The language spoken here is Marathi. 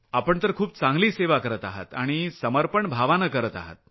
आपण तर खूप चांगली सेवा करत आहात आणि समर्पण भावनेनं करत आहात